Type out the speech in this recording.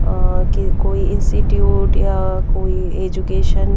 अ कोई इंस्टिट्यूट या कोई एजुकेशन --